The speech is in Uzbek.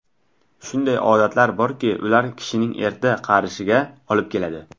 Shunday odatlar borki, ular kishining erta qarishiga olib keladi.